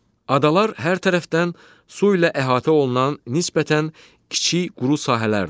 Adalar hər tərəfdən su ilə əhatə olunan nisbətən kiçik quru sahələrdir.